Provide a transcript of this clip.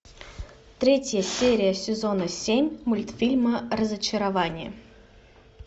третья серия сезона семь мультфильма разочарование